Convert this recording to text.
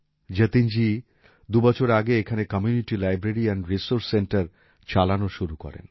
যতীনজি দুবছর আগে এখানে community library and resource centre চালানো শুরু করেন